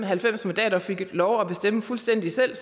halvfems mandater og fik lov til at bestemme fuldstændig selv